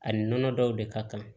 Ani nɔnɔ dɔw de ka kan